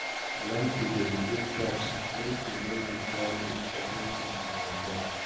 Learn to delegate tasks, make you no carry everytin on your head